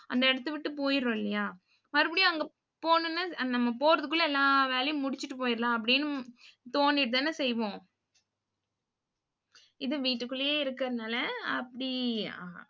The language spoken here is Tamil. அந்த இடத்தை விட்டு, போயிடுறோம் இல்லையா மறுபடியும் அங்க போன உடனே நம்ம போறதுக்குள்ள எல்லா வேலையும் முடிச்சுட்டு போயிரலாம் அப்படின்னு தோணிட்டுதானே செய்வோம் இது வீட்டுக்குள்ளேயே இருக்கிறதுனால அப்படி